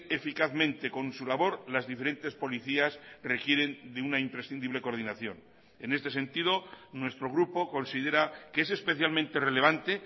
eficazmente con su labor las diferentes policías requieren de una imprescindible coordinación en este sentido nuestro grupo considera que es especialmente relevante